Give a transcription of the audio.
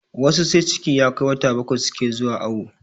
Wasu sai ciki ya kai wata bakwai suke zuwa awo